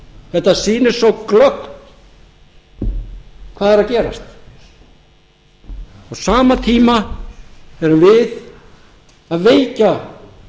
þetta sýnir svo glöggt hvað er að gerast á sama tíma erum við að veikja